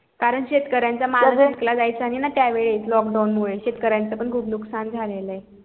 कारण शेतकऱ्या च माल जायचा नई ना त्या वेळेस lockdown शेतकऱ्याचं पण खूप नुस्कान झालेलं ये